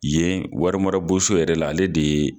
Yen warimara bon so yɛrɛ la, ale de ye